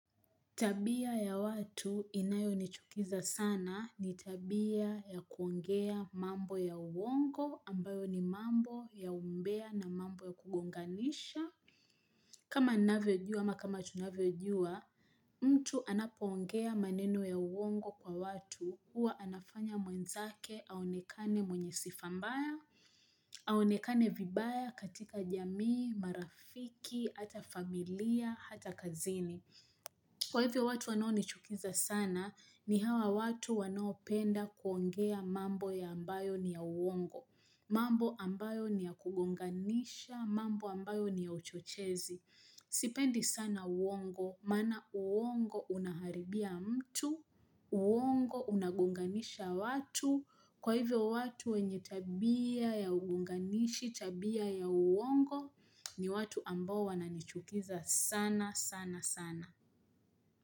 Tabia ya watu inayo nichukiza sana ni tabia ya kuongea mambo ya uongo ambayo ni mambo ya umbea na mambo ya kugonganisha kama ninavyojua ama kama tunavyojua mtu anapoongea maneno ya uongo kwa watu huwa anafanya mwenzake aonekane mwenye sifambaya Aonekane vibaya katika jamii marafiki hata familia hata kazini Kwa hivyo watu wanao nichukiza sana, ni hawa watu wanoopenda kuongea mambo ya ambayo ni ya uongo. Mambo ambayo ni ya kugonganisha, mambo ambayo ni ya uchochezi. Sipendi sana uongo, mana uongo unaharibia mtu, uongo unagunganisha watu. Kwa hivyo watu wenye tabia ya ugonganishi, tabia ya uongo, ni watu ambao wananichukiza sana, sana, sana.